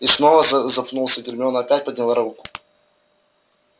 и снова за запнулся гермиона опять подняла руку